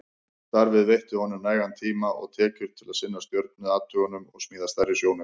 Starfið veitti honum nægan tíma og tekjur til að sinna stjörnuathugunum og smíða stærri sjónauka.